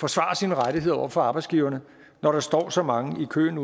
forsvare sine rettigheder over for arbejdsgiverne når der står så mange i køen